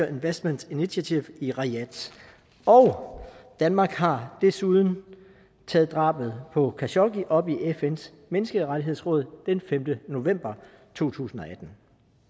investment initiative i riyadh og danmark har desuden taget drabet på khashoggi op i fns menneskerettighedsråd den femte november to tusind og atten